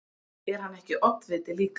Er hann ekki oddviti líka?